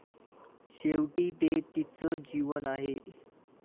शेवटी ते तिचं जीवन आहे.